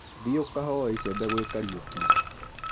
Thiĩ ũkahoe icembe gwĩ Kariuki.